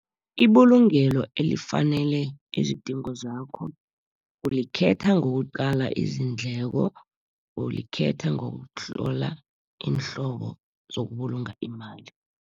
Ibulungelo elifanele izidingo zakho, ulikhetha ngokuqala izindleko, ulikhetha ngokuhlola iinhlobo zokubulunga imali.